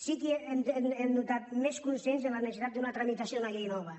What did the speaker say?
sí que hem notat més consens en la necessitat d’una tramitació d’una llei nova